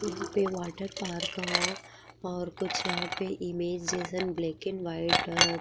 यहाँ पे वाटरपार्क ह और कुछ यहाँ पे इमेज जइसन ब्लैकेन व्हाइट ह --